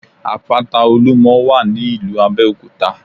Àpáta Olúmo wà ní ìlú Abéòkúta